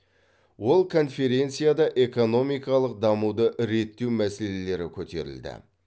ол конференцияда экономикалық дамуды реттеу мәселелері көтерілді